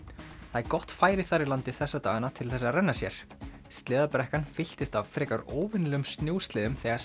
það er gott færi þar í landi þessa dagana til þess að renna sér sleðabrekkan fylltist af frekar óvenjulegum snjósleðum þegar